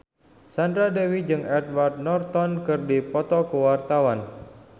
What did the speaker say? Sandra Dewi jeung Edward Norton keur dipoto ku wartawan